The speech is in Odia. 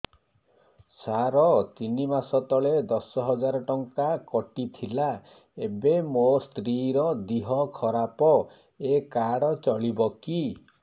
ସାର ତିନି ମାସ ତଳେ ଦଶ ହଜାର ଟଙ୍କା କଟି ଥିଲା ଏବେ ମୋ ସ୍ତ୍ରୀ ର ଦିହ ଖରାପ ଏ କାର୍ଡ ଚଳିବକି